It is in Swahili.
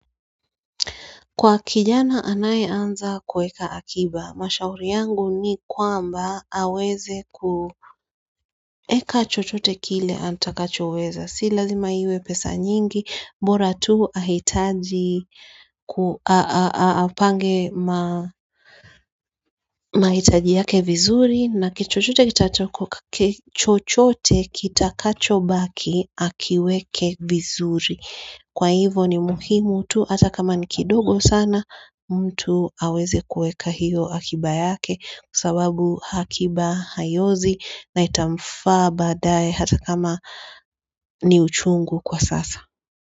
Kwa kijana anayeanza kueka akiba, mashauri yangu ni kwamba aweze kueka chochote kile antakachoweza, sila zima iwe pesa nyingi, mbora tu ahitaji, ahupange mahitaji yake vizuri na kichochote kitakachobaki akiweke vizuri. Kwa hivo ni muhimu tu hata kama ni kidogo sana mtu aweze kueka hiyo akiba yake kusawabu hakiba hayozi na itamfaa dae hata kama ni uchungu kwa sasa.